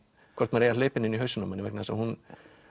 hvort maður eigi að hleypa henni inn í hausinn á manni vegna þess að hún